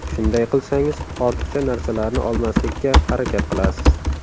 Shunday qilsangiz ortiqcha narsalarni olmaslikka harakat qilasiz.